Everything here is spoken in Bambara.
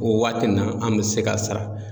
O waati in na an me se k'a sara